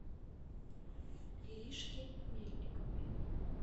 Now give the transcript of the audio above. иришке мельниковой